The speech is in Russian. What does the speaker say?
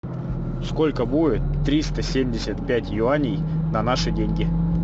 сколько будет триста семьдесят пять юаней на наши деньги